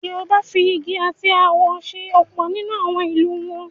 Yorùbá fi igi àti awọ se ọ̀pọ̀ nínú àwọn ìlù wọn.